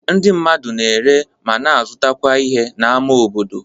Ndị mmadụ na-ere, ma na-azụtakwa ihe n'ámá obodo.